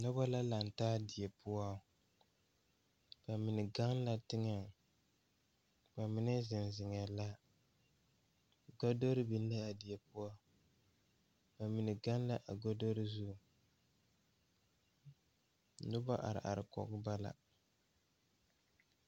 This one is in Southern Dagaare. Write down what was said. Nobɔ la laŋtaa die poɔ ba mine gaŋ la teŋɛŋ ba mine zeŋ zeŋɛɛ la godore biŋ laa die poɔ ba mine gaŋ la a godore zu nobɔ are are kɔge ba la.